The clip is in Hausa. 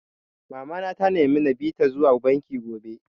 Mama na ta nemi na bi ta zuwa banki gobe